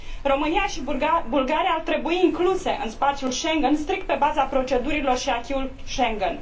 România și Bulgaria ar trebui incluse în spațiul Schengen strict pe baza procedurilor și acquis ului Schengen.